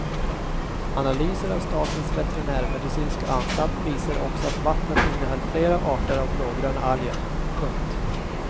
Analyser av statens veterinärmedicinska anstalt visade också att vattnet innehöll flera arter av blågröna alger. punkt